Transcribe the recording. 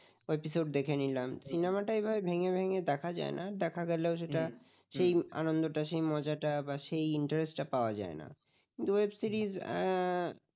একটা episode দেখে নিলাম cinema টা এরকম ভেঙ্গে ভেঙ্গে দেখা যায় না, দেখা গেলেও সেটা সে আনন্দটা সেই মজাটা বা সেই interest পাওয়া যায় না তো web series